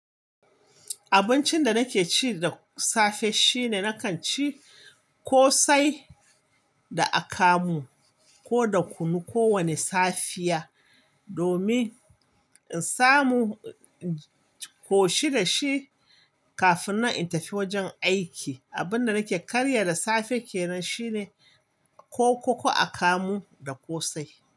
Abincin da nake ci da safe shine nakan ci ƙosai da akamu ko da kunu kowane safiya domin in samu in ƙoshi da shi kafin nan intafi wajen aiki. Abun da nake karya da safe ke nan shine kokoko akamu da ƙosai.